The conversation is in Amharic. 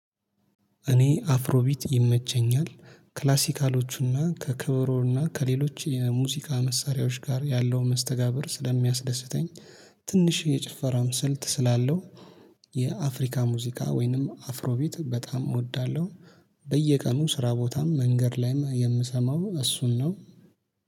እኔ አፍሮቢት ይመቸኛል ክላሲካሎቹና ከከበሮና ከሌሎች የሙዚቃ መሳሪያዎች ጋር ያለው መስተጋብር ስለሚያስደስተኝ ትንሽ የጭፈራውም ስልት ስላለው የአፍሪካ ሙዚቃ ወይንም አፍሮ ቢት በጣም እወዳለሁ። በየቀኑ ስራ ቦታም መንገድ ላይም የምሰማው እሱን ነው